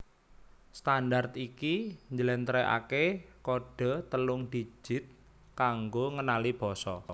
Standard iki njlèntrèhaké kodhe telung didit kanggo ngenali basa